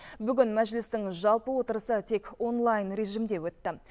бүгін мәжілістің жалпы отырысы тек онлайн режимде өтті